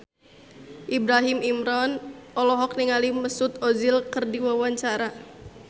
Ibrahim Imran olohok ningali Mesut Ozil keur diwawancara